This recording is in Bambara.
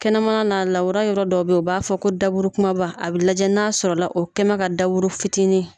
Kɛnɛmana naa lawura yɔrɔ dɔ bɛ yen u b'a fɔ ko daburu kumaba, a bɛ lajɛ n'a sɔrɔla o kɛ bɛn ka daburu fitinin.